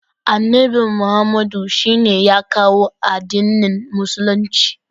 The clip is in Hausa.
Annabi Muhammadu shine ya kawo addinin musulunci.